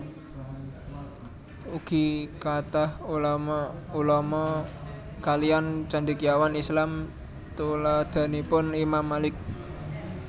Ugi kathah ulama ulama kaliyan Cendekiawan Islam tuladhanipun Imam Malik